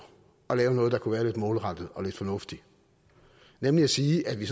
at lave noget der kunne være lidt målrettet og lidt fornuftigt nemlig at sige at vi